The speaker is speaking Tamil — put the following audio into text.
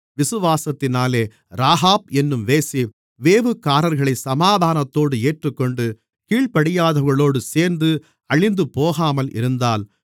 விசுவாசத்தினாலே ராகாப் என்னும் வேசி வேவுகாரர்களைச் சமாதானத்தோடு ஏற்றுக்கொண்டு கீழ்ப்படியாதவர்களோடு சேர்ந்து அழிந்துபோகாமல் இருந்தாள்